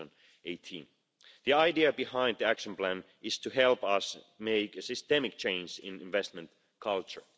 2018. The idea behind the action plan is to help us make a systemic change in investment culture.